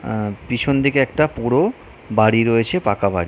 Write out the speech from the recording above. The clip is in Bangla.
আহ পিছন দিকে একটা পোড়ো বাড়ি রয়েছে পাকা বাড়ি।